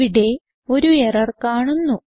ഇവിടെ ഒരു എറർ കാണുന്നു